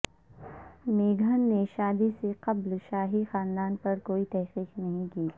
میگھن نے شادی سے قبل شاہی خاندان پر کوئی تحقیق نہیں کی